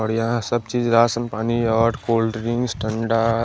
औड़ यहाँ सब चीज राशन पानी और कोल्ड ड्रिंक्स ठंडा--